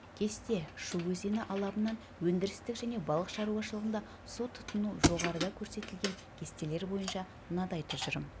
кесте шу өзені алабынан өндірістік және балық шаруашылығында су тұтыну жоғарыда көрсетілген кестелер бойынша мынадай тұжырым